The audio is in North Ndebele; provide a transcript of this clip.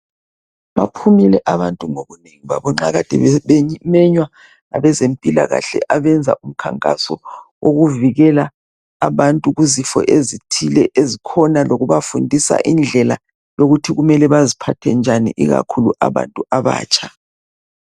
Baphumile abantu ngobunengi babo. Nxa kade bemenywa ngabezempilakahle. Abenza umkhankaso wokuvikela abantu kuzifo ezithile ezikhona. Lokubafundisa indlela yokuthi kumele baziphathe njani. Ikakhulu abantu abatsha.